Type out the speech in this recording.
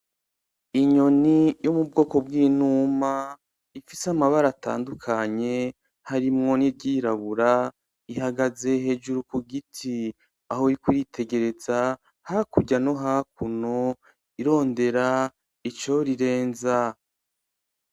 Inyoni yo mubwoko bw'inuma ifise amabara atandukanye harimwo n'iryirabura, ihagaze hejuru kugiti aho iri kwitegereza hakurya no hakuno irondera ico rirenza.